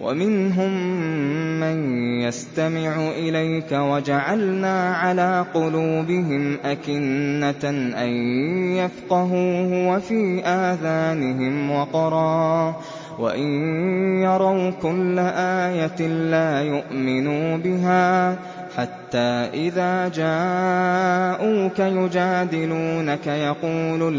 وَمِنْهُم مَّن يَسْتَمِعُ إِلَيْكَ ۖ وَجَعَلْنَا عَلَىٰ قُلُوبِهِمْ أَكِنَّةً أَن يَفْقَهُوهُ وَفِي آذَانِهِمْ وَقْرًا ۚ وَإِن يَرَوْا كُلَّ آيَةٍ لَّا يُؤْمِنُوا بِهَا ۚ حَتَّىٰ إِذَا جَاءُوكَ يُجَادِلُونَكَ يَقُولُ